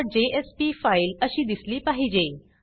indexजेएसपी file अशी दिसली पाहिजे